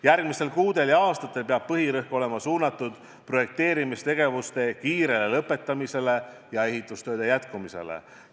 Järgmistel kuudel ja aastatel peab põhirõhk olema suunatud projekteerimistegevuste kiirele lõpetamisele ja ehitustööde jätkumisele.